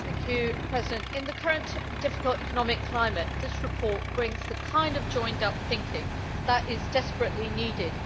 Madam President, in the current difficult economic climate, this report brings the kind of joined up thinking that is desperately needed.